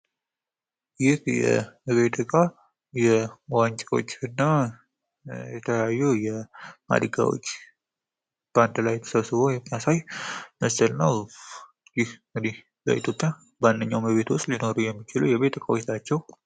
የቤት እቃ ዋንጫዎች እና የተለያዩ ማድጋዎች በአንድ ላይ ተሰብስበው የሚያሳይ ምስል ነው። ይህ እንግዲህ በኢትዮጵያ በማንኛውም ቤት ውስጥ ሊኖሩ የሚችሉ የቤት እቃዎች ናቸው።